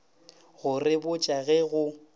go re botša ge go